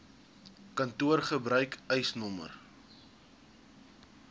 kantoor gebruik eisnr